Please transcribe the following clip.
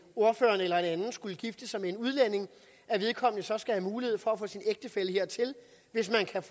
ordføreren eller en anden skulle gifte sig med en udlænding at vedkommende så skal have mulighed for at få sin ægtefælle hertil hvis man kan